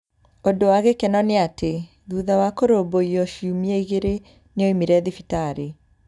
Ũndũ wa gĩkeno nĩ atĩ, thutha wa kũrũmbũiyo ciumia igĩrĩ, nĩ oimire thibitarĩ.